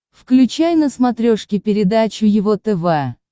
включай на смотрешке передачу его тв